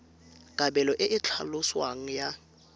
kabelo e e tlhaloswang ya